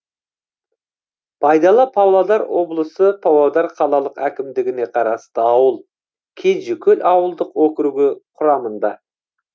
байдала павлодар облысы павлодар қалалық әкімдігіне қарасты ауыл кенжекөл ауылдық округі құрамында